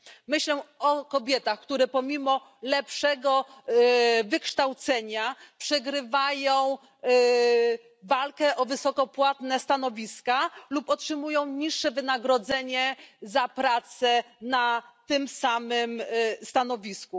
Myślę o kobietach, które pomimo lepszego wykształcenia przegrywają walkę o wysoko płatne stanowiska lub otrzymują niższe wynagrodzenie za pracę na tym samym stanowisku.